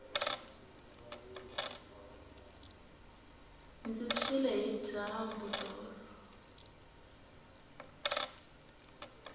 ndzi tshwile hi dyambu tolo